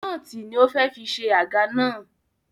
Nóòtì ni ó fẹ́ fi ṣe àga náà